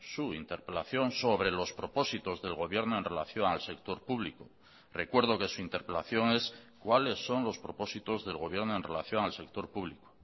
su interpelación sobre los propósitos del gobierno en relación al sector público recuerdo que su interpelación es cuáles son los propósitos del gobierno en relación al sector público